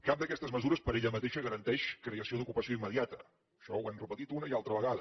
cap d’aquestes mesures per ella mateixa garanteix creació d’ocupació immediata això ho hem repetit una i altra vegada